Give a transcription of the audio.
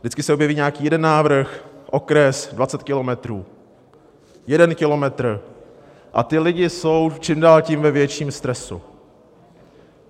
Vždycky se objeví nějaký jeden návrh: okres, 20 kilometrů, jeden kilometr a ti lidi jsou čím dál tím ve větším stresu.